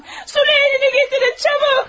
Süleğenini gətirin, çabuk!